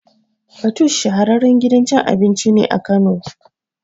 Fatoosh shahararren gidan cin abinci ne Kano